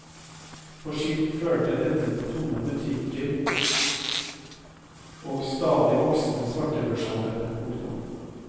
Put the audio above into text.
På sikt førte dette til tomme butikker og en stadig voksende svartebørshandel. punktum